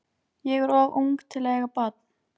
Ég er of ung til að eiga barn.